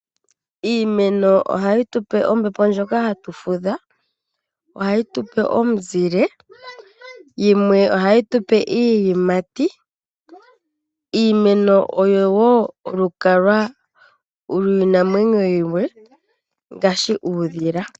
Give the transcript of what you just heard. Iimeno ohayi tupe ombepo ndjoka yokufudhila mo. Ohayi tupe omuzile yamwe ohayi tupe iiyimati. Iimeno oyo woo olukalwa liinamwenyo yimwe ngaashi uudhila.